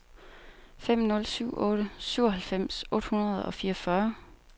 fem nul syv otte syvoghalvfems otte hundrede og fireogfyrre